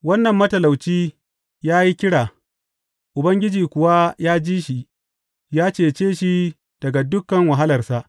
Wannan matalauci ya yi kira, Ubangiji kuwa ya ji shi; ya cece shi daga dukan wahalarsa.